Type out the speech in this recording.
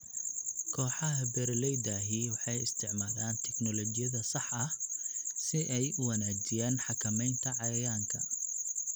Kooxaha beeralayda ahi waxay isticmaalaan tignoolajiyada saxda ah si ay u wanaajiyaan xakamaynta cayayaanka.